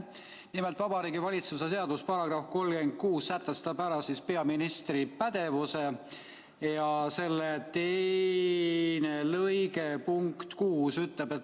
Nimelt, Vabariigi Valitsuse seaduse § 36 sätestab ära peaministri pädevuse ja selle teine lõige punkt 6 ütleb: "...